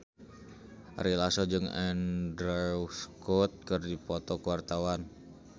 Ari Lasso jeung Andrew Scott keur dipoto ku wartawan